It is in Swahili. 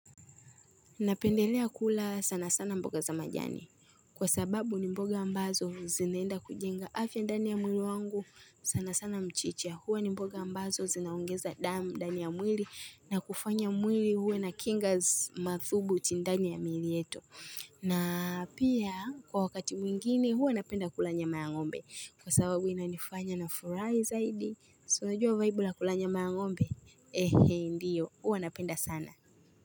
Napendelea kula sana sana mboga za majani. Kwa sababu ni mboga ambazo zinaenda kujenga afya ndani ya mwili wangu sana sana mchicha. Huwa ni mboga ambazo zinaongeza damu ndani ya mwili na kufanya mwili huwe na kinga mathubu ti ndani ya miili yetu. Na pia kwa wakati mwingine huwa napenda kula nya ma ya ng'ombe. Kwa sababu inanifanya na furahi zaidi. Si unajua vaibu la kula nya ma la ng'ombe? Ehe ndiyo. Huwa napenda sana.